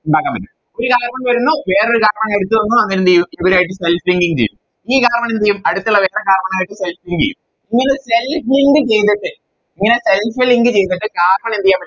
ഉണ്ടാക്കാൻ പറ്റും ഒരു Carbon വരുന്നു വേറൊരു Carbon എടുത്തിടുന്നു അങ്ങനെന്തേയ്യും ഇവരായിട്ട് Self linking ചെയ്യും ഈ Carbon എന്തെയ്യും അടിത്തിള്ള വേറെ Carbon ആയിട്ട് Self link ചെയ്യും ഇങ്ങനെ Self link ചെയ്തിട്ട് ഇങ്ങനെ Self link ചെയ്തിട്ട് Carbon എന്തെയ്യൻ പറ്റും